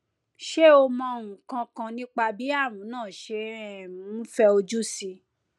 ṣé o mọ nǹkan kan nípa bí ààrùn náà ṣe um ń fẹ ojú síi